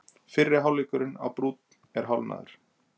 Fyrri hálfleikurinn á Brúnn er hálfnaður